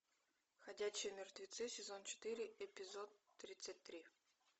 ходячие мертвецы сезон четыре эпизод тридцать три